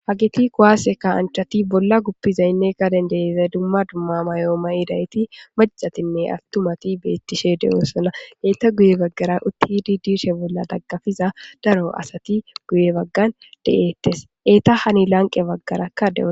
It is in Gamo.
hagiti kowaase kasanchati bolla guppizaynne gaden deiza dumma dumma mayoo ma7idayti macatinne awtumati beettishe de7oosona leetta guye baggara uttidi dirshe bolla daggafiza daro asati guye baggan de7eettes eeta hani lanqe baggarakka deo